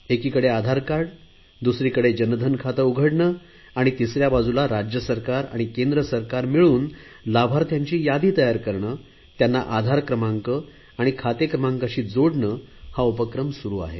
एकीकडे आधार कार्ड दुसरीकडे जनधन खाते उघडणे आणि तिसऱ्या बाजूला राज्य सरकार आणि केंद्र सरकार मिळून लाभार्थ्यांची यादी तयार करणे त्यांना आधार क्रमांक आणि खाते क्रमांकाशी जोडणे हा उपक्रम सुरु आहे